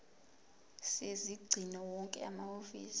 sezingcingo wonke amahhovisi